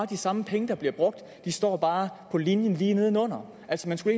de samme penge der bliver brugt de står bare på linjen lige nedenunder altså man skulle